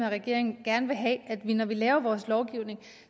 af regeringen gerne vil have at vi når vi laver vores lovgivning